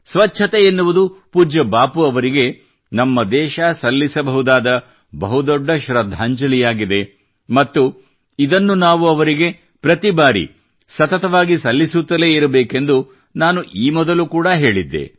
ಸ್ವಚ್ಛತೆ ಎನ್ನುವುದು ಪೂಜ್ಯ ಬಾಪೂ ಅವರಿಗೆ ನಮ್ಮ ದೇಶ ಸಲ್ಲಿಸಬಹುದಾದ ಬಹುದೊಡ್ಡ ಶ್ರದ್ಧಾಂಜಲಿಯಾಗಿದೆ ಮತ್ತು ಇದನ್ನು ನಾವು ಅವರಿಗೆ ಪ್ರತಿ ಬಾರಿ ಸತತವಾಗಿ ಸಲ್ಲಿಸುತ್ತಲೇ ಇರಬೇಕೆಂದು ನಾನು ಈ ಮೊದಲು ಕೂಡಾ ಹೇಳಿದ್ದೆ